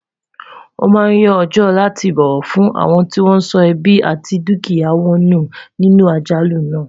wón má Yàn ọjọ láti bọwọ fún awọn tí wọn sọ ẹbi àti dukia wọn nù nínú àjálù nà